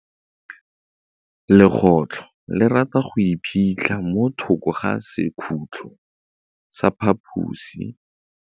Legôtlô le rata go iphitlha mo thokô ga sekhutlo sa phaposi.